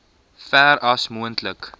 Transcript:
ver as moontlik